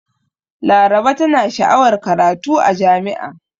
Laraba tana sha'awar karatu a jami'a.